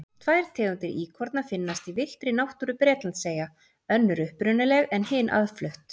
Tvær tegundir íkorna finnast í villtri náttúru Bretlandseyja, önnur upprunaleg en hin aðflutt.